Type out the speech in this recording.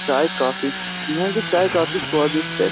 चाय काफी यहां की चाय काफी स्वादिष्ट है।